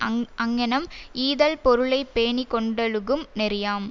அங் அங்ஙனம் ஈதல் பொருளை பேணி கொண்டொழுகும் நெறியாம்